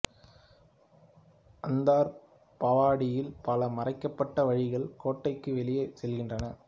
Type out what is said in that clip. அந்தர் பவாடியில் பல மறைக்கப்பட்ட வழிகள் கோட்டைக்கு வெளியே செல்கின்றன